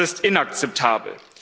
Das ist inakzeptabel.